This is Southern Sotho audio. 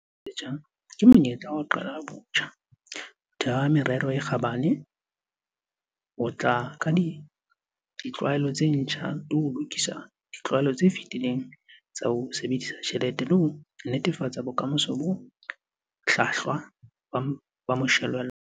Selemo se setjha ke monyetla wa ho qala botjha, ho theha merero e kgabane, ho tla ka ditlwaelo tse ntjha le ho lokisa ditlwaelo tse fetileng tsa ho sebedisa tjhelete ho netefatsa bokamoso bo hlwahlwa ba moshwelella.